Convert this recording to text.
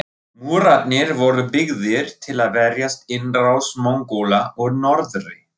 Múrarnir voru byggðir til að verjast innrás Mongóla úr norðri.